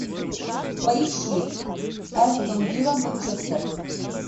поищи астон вилла манчестер